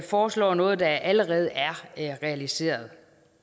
foreslår noget der allerede er realiseret